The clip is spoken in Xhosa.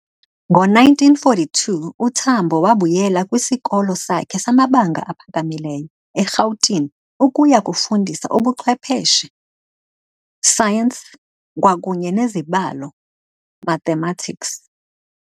Ngo-1942, uTambo wabuyela kwisikolo sakhe samabanga aphakamileyo eRhawutini ukuya kufundisa ubuchwepeshe, Science, kwakunye neZibalo, Mathematics.